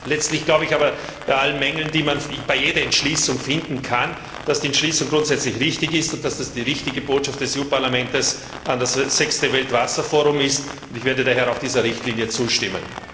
Letztlich glaube ich aber bei allen Mängeln, die man bei jeder Entschließung finden kann, dass die Entschließung grundsätzlich richtig ist und dass das die richtige Botschaft des EU Parlaments an das sechste Weltwasserforum ist, und ich werde daher auch dieser Richtlinie zustimmen.